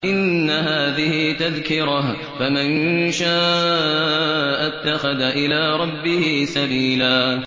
إِنَّ هَٰذِهِ تَذْكِرَةٌ ۖ فَمَن شَاءَ اتَّخَذَ إِلَىٰ رَبِّهِ سَبِيلًا